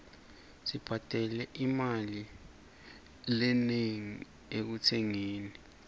sibhadale imali lenengi ekutsengeni